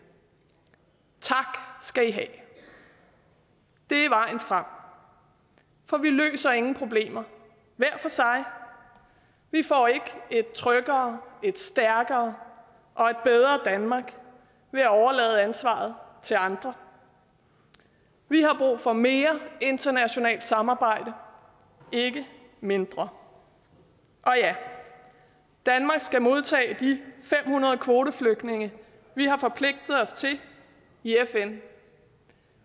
tak skal i have det er vejen frem for vi løser ingen problemer hver for sig vi får ikke et tryggere et stærkere og et bedre danmark ved at overlade ansvaret til andre vi har brug for mere internationalt samarbejde ikke mindre og ja danmark skal modtage de fem hundrede kvoteflygtninge vi har forpligtet os til i fn